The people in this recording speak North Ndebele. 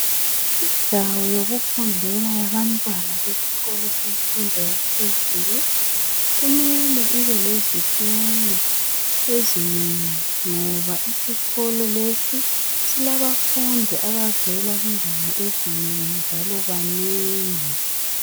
indawo yokufundela yabantwana besikolo semfundo yaphezulu kumele ibe lezitulo ezinengi ngoba isikolo lesi silabafundi abavela kundawo ezinengi njalo banengi